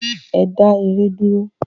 Ẹ dá ère dúró!